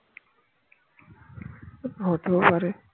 হতেও পারে